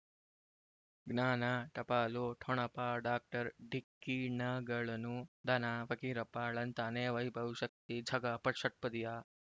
ಜ್ಞಾನ ಟಪಾಲು ಠೊಣಪ ಡಾಕ್ಟರ್ ಢಿಕ್ಕಿಣಗಳನು ಧನ ಫಕೀರಪ್ಪ ಳಂತಾನೆ ವೈಭವ್ ಶಕ್ತಿ ಝಗಾ ಷಟ್ಪದಿಯ